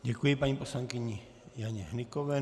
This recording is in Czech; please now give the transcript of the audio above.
Děkuji paní poslankyni Janě Hnykové.